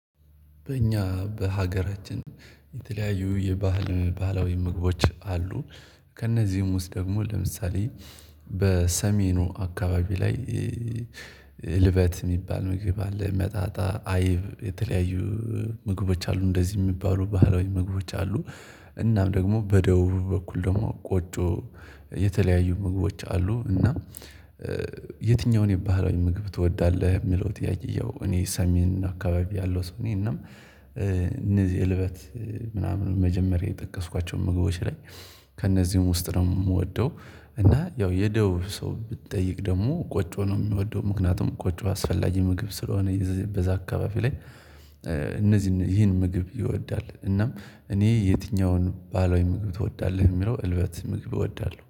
በእኛ በሀገራችን የተለያዩ የባህል ባህላዊ ምግቦች አሉ። ከእነዚህም ውስጥ ደግሞ ለምሳሌ በሰሜኑ አካባቢ ላይ ልበት የሚባል ምግብ አለ፤ የመጣጣ አይብ የተለያዩ ምግቦች አሉ እንደዚህ የሚባሉ ባህላዊ ምግቦች አሉ። እናም ደግሞ በደቡቡ በኩል ደግሞ ቆጮ የተለያዩ ምግቦች አሉ፤ እና የትኛውን የባህላዊ ምግብ ትወዳለህ የሚለው ጥያቄ ያው እኔ ሰሜን አካባቢ ያለሁ ሰው ነኝ እና እነዚህ እልበት ምናምን መጀመሪያ የጠቀስኳቸውን ምግቦች ላይ ከእነዚህም ውስጥ ነው የምወደው። እና ያው የደቡብ ሰው ብትጠይቅ ደግሞ ቆጭ ነው የሚወደው ምክንያቱም ቆጭ አስፈላጊ ምግብ ስለሆነ በዛ አካባቢ ላይ እነዚህን ይህን ምግብ ይወዳል፤ እናም እኔ የትኛውን ባህላዊ ምግብ ትወዳለህ የሚለው እልበት ምግብ እወዳለሁ።